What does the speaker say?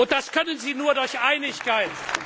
Das können sie nur durch Einigkeit.